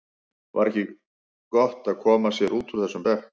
Var ekki eins gott að koma sér út úr þessum mekki?